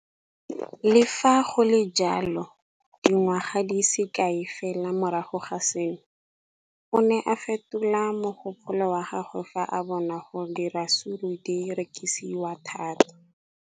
Le fa go le jalo, dingwaga di se kae fela morago ga seno, o ne a fetola mogopolo wa gagwe fa a bona gore diratsuru di rekisiwa thata.